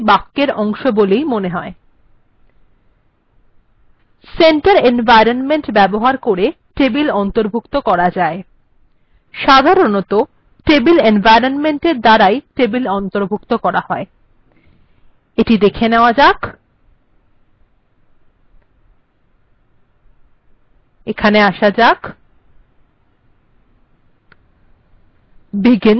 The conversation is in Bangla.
টেবিলটিকেও এই বাক্যের অংশ বলে মনে হয় centre এনভয়রনমেন্ট্ ব্যবহার করে টেবিল অন্তর্ভুক্ত করা যায় সাধারনতঃ table এনভয়রনমেন্ট্এর দ্বারাই টেবিল অন্তর্ভুক্ত করা হয় এটি দেখা নেয়া যাক এখানে আসা যাক